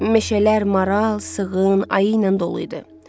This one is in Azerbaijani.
Meşələr maral, sığın, ayı ilə dolu idi.